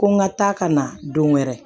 Ko n ka taa ka na don wɛrɛ